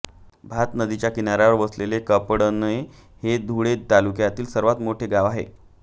भात नदीच्या किनाऱ्यावर वसलेले कापडणे हे धुळे तालुक्यातील सर्वात मोठे गाव आहे